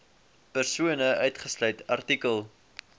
persone uitgesluit artikel